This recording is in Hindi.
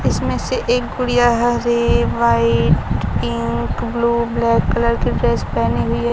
इसमें से एक गुड़िया है red white pink blue black colour की ड्रेस पहनी हुई है।